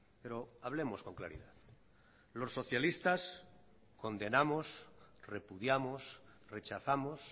pero hablemos con claridad los socialistas condenamos repudiamos rechazamos